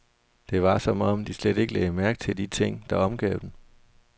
Det var som om, de slet ikke lagde mærke til de ting, der omgav dem.